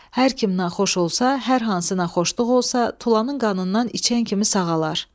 Hər kim naxoş olsa, hər hansı naxoşluq olsa, tulanın qanından içən kimi sağalar.